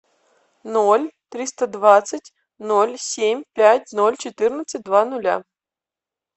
ноль триста двадцать ноль семь пять ноль четырнадцать два нуля